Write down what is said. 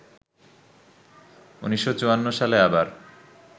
১৯৫৪ সালে আবার